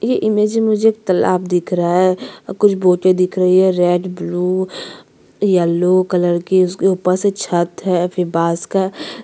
यह इमेज में मुझे एक तालाब दिख रहा है अऊ कुछ बोटे दिख रही है रेड ब्लू येलो कलर के उसके ऊपर से छत है फिर बास का--